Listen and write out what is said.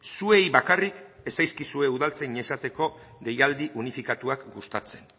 zuei bakarrik ez zaizkizue udaltzain izateko deialdi unifikatuak gustatzen